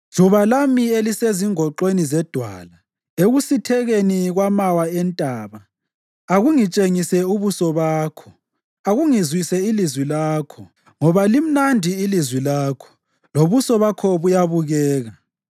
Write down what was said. Juba lami elisezingoxweni zedwala, ekusithekeni kwamawa entaba, akungitshengise ubuso bakho, akungizwise ilizwi lakho; ngoba limnandi ilizwi lakho, lobuso bakho buyabukeka.